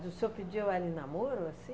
o senhor pediu ela em namoro assim?